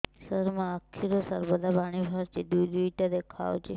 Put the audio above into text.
ସାର ମୋ ଆଖିରୁ ସର୍ବଦା ପାଣି ବାହାରୁଛି ଦୁଇଟା ଦୁଇଟା ଦେଖାଯାଉଛି